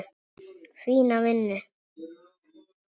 Fína vinnu.